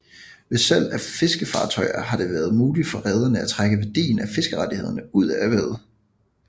Ved salg af fiskefartøjer har det været muligt for rederne at trække værdien af fiskerettighederne ud af erhvervet